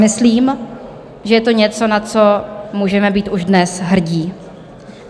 Myslím, že je to něco, na co můžeme být už dnes hrdí.